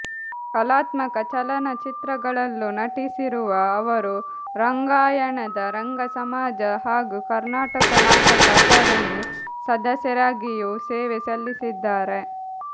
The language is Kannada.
ಕಲಾತ್ಮಕ ಚಲನಚಿತ್ರಗಳಲ್ಲೂ ನಟಿಸಿರುವ ಅವರು ರಂಗಾಯಣದ ರಂಗ ಸಮಾಜ ಹಾಗೂ ಕರ್ನಾಟಕ ನಾಟಕ ಅಕಾಡೆಮಿ ಸದಸ್ಯರಾಗಿಯೂ ಸೇವೆ ಸಲ್ಲಿಸಿದ್ದಾರೆ